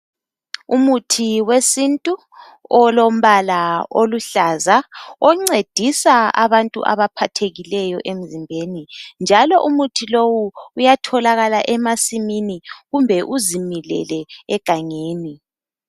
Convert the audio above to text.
Umuthi we sintu olombala oluhlaza oncedisa abantu abaphathekileyo emzimbeni njalo umuthi lowu uyatholakala emasimini kumbe uzimilele egangeni.